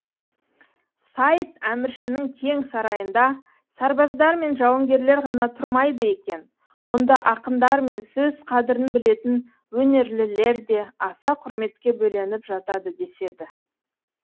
сайд әміршінің кең сарайында сарбаздар мен жауынгерлер ғана тұрмайды екен онда ақындар мен сөз қадірін білетін өнерлілер де аса құрметке бөленіп жатады деседі